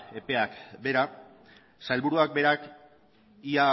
eta epeak behera sailburuak berak ia